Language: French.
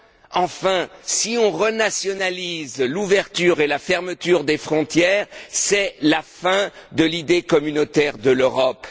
Car enfin, si on rétablit l'ouverture et la fermeture des frontières, c'est la fin de l'idée communautaire de l'Europe.